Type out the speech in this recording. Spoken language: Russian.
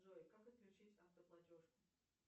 джой как отключить автоплатеж